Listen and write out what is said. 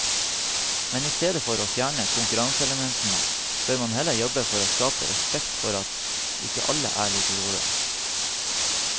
Men istedenfor å fjerne konkurranseelementene bør man heller jobbe for å skape respekt for at ikke alle er like gode.